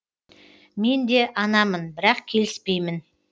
мен де анамын бірақ келіспеймін